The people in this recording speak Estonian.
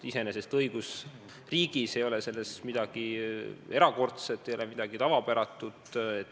Iseenesest õigusriigis ei ole selles midagi erakordset, midagi tavapäratut.